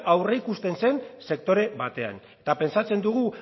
aurreikusten zen sektore batean eta pentsatzen dugu